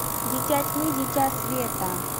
дитя тьмы дитя света